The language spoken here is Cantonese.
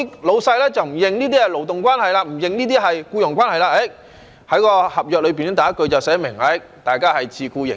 老闆不承認這些是勞動關係，不承認這是僱傭關係，在合約上第一句寫明：他們是自僱形式。